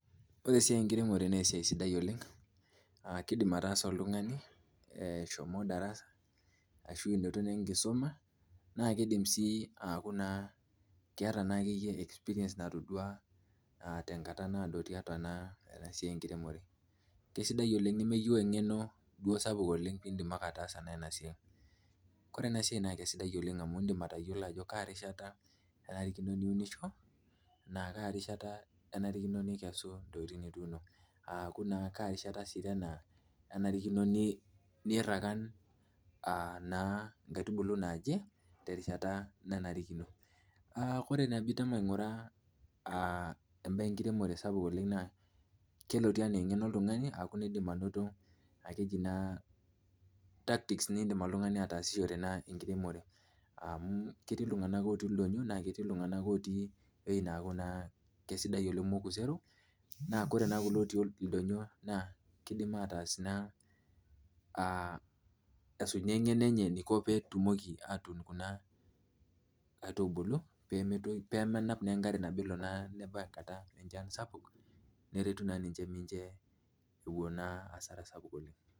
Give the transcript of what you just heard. Ore esiai enkiremore na esiai sidai oleng kidim ataasa oltungani eshomo na ashu inoto na enkisuma na keeta naakeyie experience natadua tenkata naado tiatua enasiai enkiremore kesidai oleng nemeyieu engeno indim ake ataasa enasiai, ore enasiai na kesidai oleng amu indim atayiolo ajo kaarishata enarikino niunisho, na kaa rishata enarikino pekesisho aaku naa kaarishata enarino nirakan a naa nkaitubulu naji terishata naji ainguraa embae enkiremore oleng kelotie ana engeno oltungani nindim oltungani ataasishore enkiremore kerii ltunganak otii ldonyo na koree na kulo otii oldonyio na nkaitubulu pemenap naa nkaitubulu.